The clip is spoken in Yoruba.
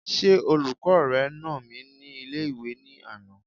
Ṣé olùkọ́ rẹ nà mí ní ilé-ìwé ní àná?